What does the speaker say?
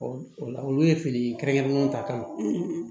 o la olu ye fini kɛrɛnkɛrɛnnenw ta kan